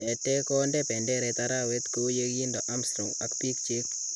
Tetee kondee penderet araweet kou yekindoo Armstrong ak biik chik